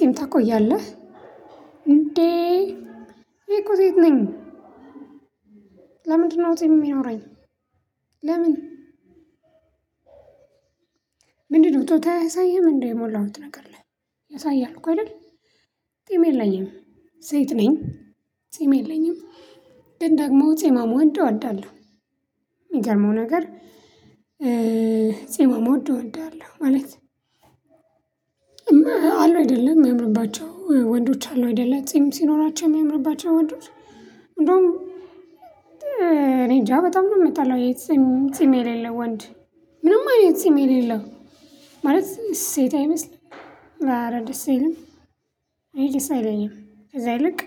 ጢም ታቆያለህ እንዴ ይሄ እኮ ሴት ነኝ ለምንድነው ጢም የሚኖረኝ? ለምን ጾታ አያሳይህም እንዴ የሞላሁት ነገር ላይ ያሳያል እኮ አይደል? ጺም የለኝም ሴት ነኝ ጺም የለኝም ግን ደግሞ ጺማም ወንድ እወዳለሁ። የሚገርመው ነገር። ጺማም ወንድ እወዳለሁ ማለት አሉ አይደለም የሚያምርባቸው ወንዶች አሉ አይደለ ጺም ሲኖራቸው የሚያምርባቸው ወንዶች። እንደውም እኔ እንጃ በጣም ነው የምታለው የት ጺም የሌለው ወንድ። ምንም አይነት ጺም የሌለው ማለት ሴት አይመስልም ኧረ ደስ አይልምም ይሄ ደስ አይለኝም። ከዛ ይልቅ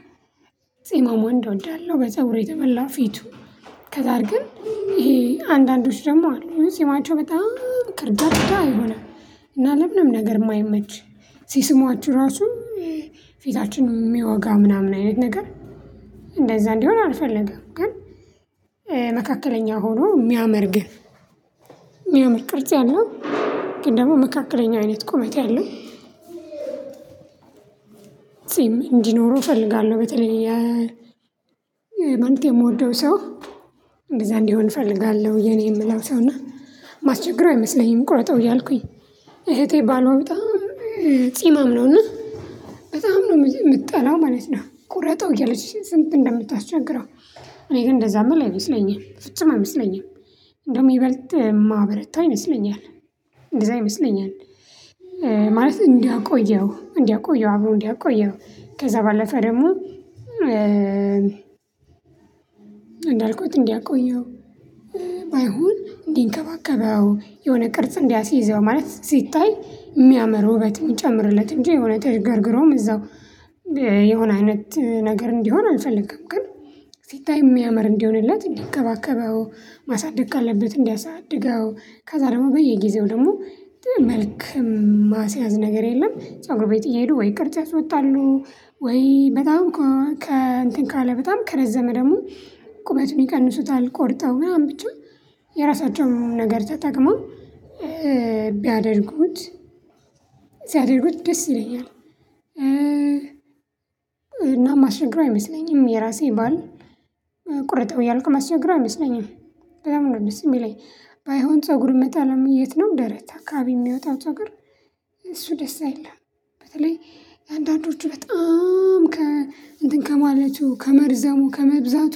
ጺማም እንደወዳለሁ በጸጉር የተሞላ ፊቱ። ከዛ ግን ይሄ አንዳንዶች ደግሞ አሉ ጺማቸው በጣም ከርዳዳ የሆነ እና ምንም ነገር የማይመች። ሲስሟችሁ ራሱ ፊታችን የሚያወጋ ምናምን አይነት ነገር እንደዛ እንዲሆን አልፈለገም። ግን መካከለኛ ሆኖ የሚያመር ግን የሚያምር ቅርጽ ያለው። ግን ደግሞ መካከለኛ አይነት ቁመት ያለው። ጺም እንዲኖረው እፈልጋለሁ። በተለይ ማለቴ የምወደው ሰው እንደዛ እንዲሆን እፈልጋለሁ። የኔ የምለው ሰው እና ማስቸግረው አይመስለኝም። ቁረጠው እያልኩኝ እህቴ ባሏ በጣም ጺማም ነውና በጣም ነው የምትጠላው ማለት ነው ቁረጠው እያለችሽ ስንት እንደምታስቸግረው። እኔ ግን እንደዛም ብለህ አይመስለኝም ፍጹም አይመስለኝም። እንደውም ይበልጥ ማብረታ አይመስለኝም። እንደዛ ይመስለኛል። ማለት እንዲያ ቆየው እንዲያቆየው አብሮ እንዲያቆየው ከዛ ባለፈ ደግሞ እንዳልኩት እንዲያቆየው። ባይሆን እንዲንከባከበው የሆነ ቅርጽ እንዲያስይዘው ማለት ሲታይ የሚያምር ውበት የሚጨምርለት እንጂ የሆነ ተዥገርግሮም እዛው የሆነ አይነት ነገር እንዲሆን አልፈልግም። ግን ሲታይ የሚያምር እንዲሆንለት እንዲንከባከበው ማሳደግ ካለበት እንዲያሳድገው ከዛ ደግሞ በየጊዜው ደግሞ መልክ ማስያዝ ነገር የለም። ፀጉር ቤት እየሄዱ ወይ ይቅርታ ወጣሉ። ወይ ከእንትን ካለ በጣም ከረዘመ ደግሞ ቁመቱን ይቀንሱታል። ቆርጠው ምናምን ብቻ የራሳቸውን ነገር ተጠቅመው ቢያደርጉት ሲያደርጉት ደስ ይለኛል። እና ማስቸግረው አይመስለኝም የራሴ ባል ቁረጠው እያልኩ ማስቸግረው አይመስለኝም። በጣም ነው ደስ የሚለኝ ባይሆን ፀጉር የምጠላው የት ነው ደረት አካባቢ የሚወጣው ፀጉር እሱ ደስ አይልም። በተለይ አንዳንዶቹ በጣም ከ እንትን ከማለቱ ከመርዘሙ ከመብዛቱ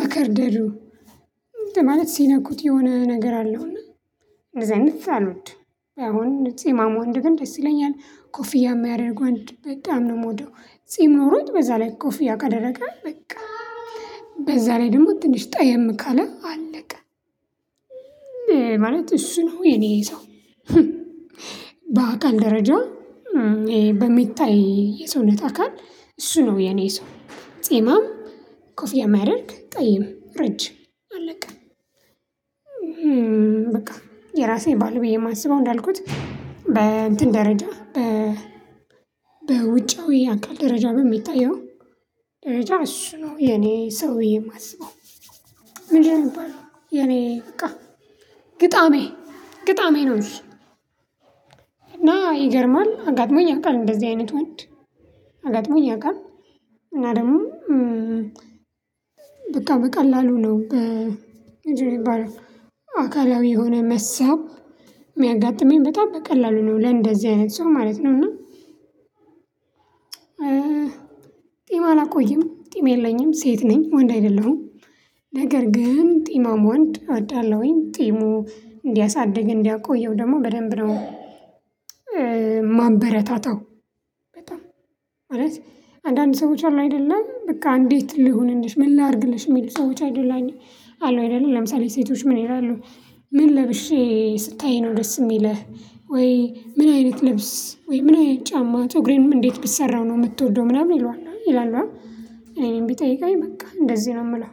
መከርደዱ እንትን ማለት ሲነኩት የሆነ ነገር አለው እና እንደዚህ አይነት አልወድ። አሁንም ጺማም ወንድ ደስ ይለኛል ኮፊያ የሚያደርግ ወንድ በጣም ነው የምወደው። ጺም ኖሮት በዛ ላይ ኮፍያ ካደረገ በቃ በዛ ላይ ደግሞ ትንሽ ጠየም ካለ አለቀ። ማለት እሱ ነው የኔ ሰው። በአካል ደረጃ በሚታይ የሰውነት አካል እሱ ነው የኔ ሰው ጺማም ኮፊያ ሚያደርግ ጠይም ረጅም አለቀ። የራሴ ባል ብዬ የማስበው እንዳልኩት በእንትን ደረጃ በ በውጫዊ አካል ደረጃ በሚታየው ደረጃ እሱ ነው የኔ ሰው ብዬ የማስበው። ምንድንነው ሚባለው? የኔ በቃ ግጣሜ ግጣሜ ነው። እሺ እና ይገርማል አጋጥሞኝ ያውቃል እንደዚህ አይነት ወንድ አጋጥሞኝ ያውቃል። እና ደግሞ በቃ በቀላሉ ነው። ምንድን ነው ሚባለው? አካላዊ የሆነ መሳብ የሚያጋጥመኝ በጣም በቀላሉ ነው ለእንደዚህ አይነት ሰው ማለት ነው። እና ጺም አላቆይም ጺም የለኝም ሴት ነኝ ወንድ አይደለሁም። ነገር ግን ጺማም ወንድ አወዳለሁኝ ጺሙን እንዲያሳድግ እንዲያቆየው ደግሞ በደንብ ነው የማበረታታው። በጣም ማለት አንዳንድ ሰዎች አሉ አይደለ በቃ እንዴት ልሁንልሽ ምን ላድርግልሽ የሚሉ ሰዎች አይደለም አሉ አይደለም ለምሳሌ ሴቶች ምን ይላሉ? ምን ለብሼ ስታይ ነው ደስ የሚለህ ወይ ምን አይነት ልብስ ወይ ምን አይነት ጫማጸጉሬንም እንዴት ብሰራው ነው የምትወደው ምናምን ይሉሃል ይላሉ። እኔን ቢጠይቀኝ በቃ እንደዚህ ነው የምለው